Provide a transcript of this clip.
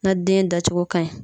Na den dacogo ka ɲi